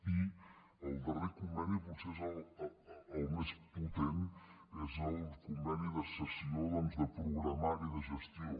i el darrer conveni potser és el més potent és el conveni de cessió de programari de gestió